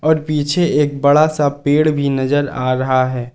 पीछे एक बड़ा सा पेड़ भी नजर आ रहा है।